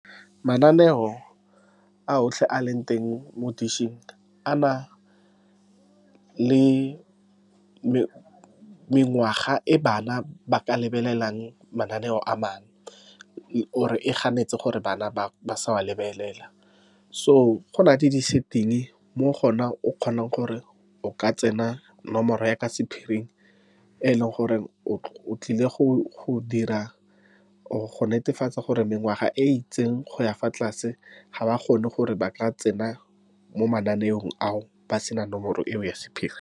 Mananeo a otlhe a leng teng mo dish-ng, a na le mengwaga e bana ba ka lebelelang mananeo a mangwe , or e ganetse gore bana ba sa a lebelela. So, gona le di-setting mo kgona o kgonang gore o ka tsenya nomoro ya ka sephiring, e e leng gore o tlile go dira, or go netefatsa gore mengwaga e ritseng go ya fa tlase ga ba kgone gore ba tla tsena mo mananeong ao ba sena nomoro eo ya sephiri.